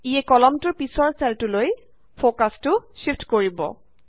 ইয়ে কলমটোৰ পিছৰ চেলটোলৈ ফকাছটো শ্বিফট কৰিব